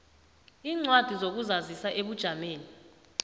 iincwadi zokuzazisa ebujameni